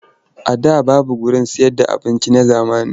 A da babu wuraren sayarda abinci na zamani.